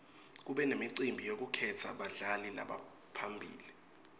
kube nemicimbi yekukhetsa badlali labaphambili